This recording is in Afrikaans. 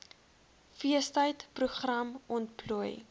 feestyd program ontplooi